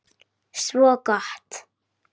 Svo gott!